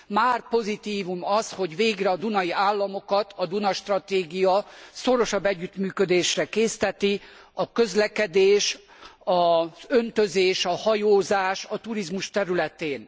Már pozitívum az, hogy végre a dunai államokat a Duna stratégia szorosabb együttműködésre készteti a közlekedés, az öntözés, a hajózás, a turizmus területén.